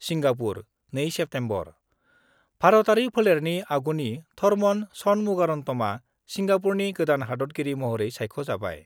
Singapore, 2 September: भारतआरि फोलेरनि आगुनि थरमन षणमुगारन्तमआ सिंगापुरनि गोदान हादतगिरि महरै सायख'जाबाय।